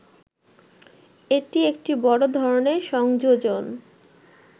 এটি একটি বড় ধরনের সংযোজন